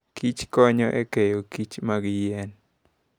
Kich konyo e keyo Kich mag yien.